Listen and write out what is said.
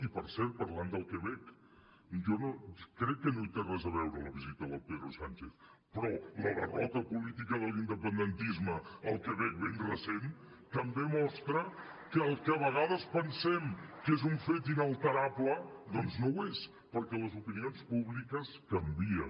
i per cert parlant del quebec jo crec que no hi té res a veure la visita del pedro sánchez però la derrota política de l’independentisme al quebec ben recent també mostra que el que a vegades pensem que és un fet inalterable doncs no ho és perquè les opinions públiques canvien